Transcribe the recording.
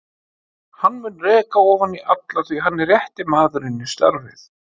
Hann mun reka ofan í alla því hann er rétti maðurinn í starfið.